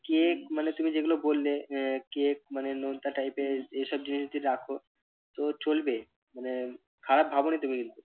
cake মানে তুমি যেগুলো বললে আহ cake মানে নোনতা type এর এসব জিনিস যদি রাখো তো চলবে মানে খারাপ ভাবোনি তুমি কিন্তু।